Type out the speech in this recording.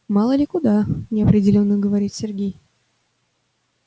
мало ли куда неопределённо говорит сергей